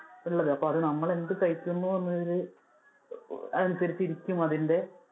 അപ്പൊ നമ്മൾ എന്ത് കഴിക്കുന്നു എന്നുള്ളതിൽ അനുസരിച്ചു ഇരിക്കും അതിന്‍ടെ